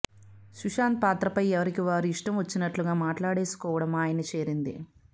సుశాంత్ పాత్రపై ఎవరికి వారు ఇష్టం వచ్చినట్లుగా మాట్లాడేసుకోవటం ఆయన్ని చేరింది